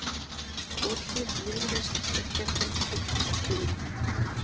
Kothlíð, Viðreisn, Stekkjarhvammspollur, Klungur